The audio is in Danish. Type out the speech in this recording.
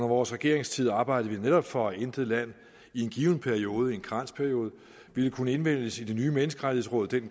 vores regeringstid arbejdede vi netop for at intet land i en given periode i en karensperiode ville kunne indvælges i det nye menneskerettighedsråd det